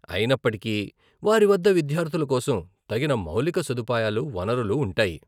అయినప్పటికీ వారి వద్ద విద్యార్థుల కోసం తగిన మౌలిక సదుపాయాలు, వనరులు ఉంటాయి.